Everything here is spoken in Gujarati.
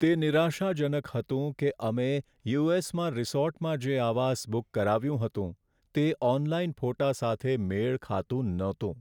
તે નિરાશાજનક હતું કે અમે યુ.એસ.માં રિસોર્ટમાં જે આવાસ બુક કરાવ્યું હતું, તે ઓનલાઈન ફોટા સાથે મેળ ખાતું ન હતું.